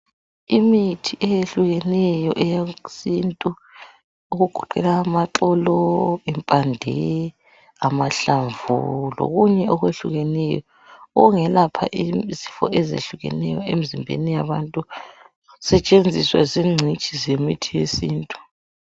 Imithi ayehlukeneyo eyesintu egoqela amaxolo impande amahlamvu lokhunye okwehlukeneyo okungelapha izifo ezehlukeney abantu zisetshenziswa zingcitshi zemithi yesintu